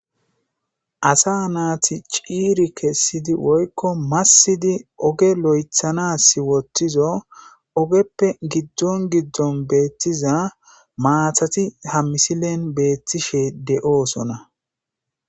asa naati ciiri kessidi woykko massidi oge lo7ethanas wottizo ogeppe giddon giddon beettiza maathati ha misilen beettishe de7oosona